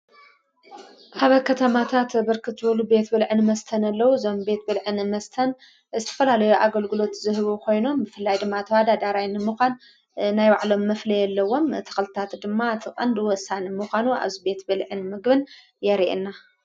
ኣብ ከተማታት ብርክት ዝበሉ ቤት ብልዕን መስተን ኣለዉ ዞም ቤት ብልዕን መስተን እስፈላለዩ ኣገልግሎት ዝህቡ ኾይኖም ምፍላይ ድማ ተዋዳ ዳራይኒ ምዃን ናይ ባዕሎም መፍለ የለዎም ተቕልታት ድማ ትቐንድወሳን ምዃኑ ኣብዝ ቤት ብልዕን ምግብን የርእየና።